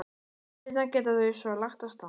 Nokkru seinna geta þau svo lagt af stað.